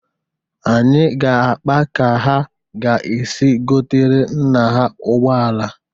Anyị ga-akpa ka ha ga-esi gotere nna ha ụgbọala.